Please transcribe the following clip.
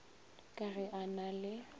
ka ge a na le